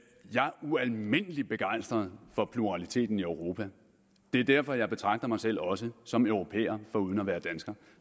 jeg er ualmindelig begejstret for pluraliteten i europa det er derfor jeg betragter mig selv også som europæer foruden at være dansker